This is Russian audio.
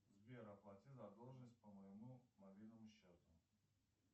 сбер оплати задолженность по моему мобильному счету